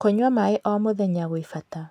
Kũnyua maĩ o mũthenya gwĩ bata